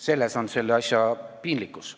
Selles seisneb selle asja piinlikkus.